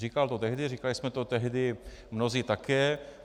Říkal to tehdy, říkali jsme to tehdy mnozí také.